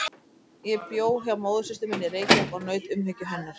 Ég bjó hjá móðursystur minni í Reykjavík og naut umhyggju hennar.